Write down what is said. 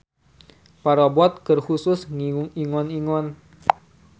Parabot keur khusus ngingu ingon-ingon.